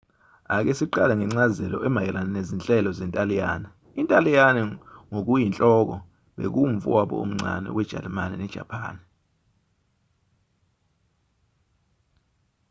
ake siqale ngencazelo emayelana nezinhlelo zentaliyane intaliyane ngokuyinhloko bekuwumfowabo omncane wejalimane nejapani